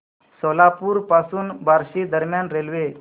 सोलापूर पासून बार्शी दरम्यान रेल्वे